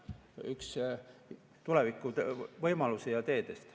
See on üks tulevikuvõimalusi ja ‑teid.